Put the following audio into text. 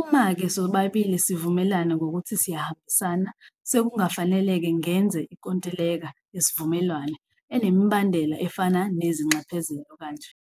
Uma-ke sobabili sivumelana ngokuthi siyahambisana sekungafanele-ke ngenze ikontileka yesivumelwano enemibandela efana nezinxephezelo kanje.